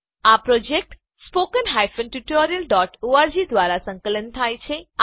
આ project spoken hyphen tutorial dot org દ્વારા સંકલન થાય છે